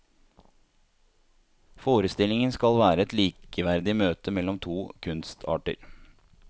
Forestillingen skal være et likeverdig møte mellom to kunstarter.